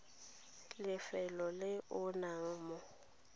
lefelong le o nnang mo